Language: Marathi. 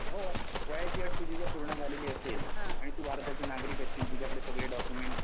हो वयाची अट तुझी जर पूर्ण झालेली असेल आणि तू भारताची नागरिक तुझ्याकडे सगळे डॉक्युमेंट्स